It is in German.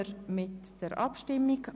– Das ist der Fall.